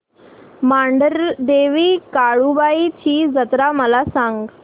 मांढरदेवी काळुबाई ची जत्रा मला सांग